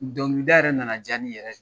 Dɔnkili da yɛrɛ na na diya ne yɛrɛ ye